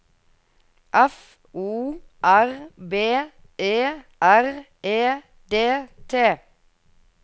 F O R B E R E D T